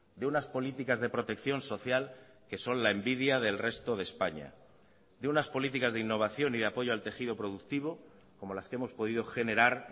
de unas políticas de protección social que son la envidia del resto de españa de unas políticas de innovación y de apoyo al tejido productivo como las que hemos podido generar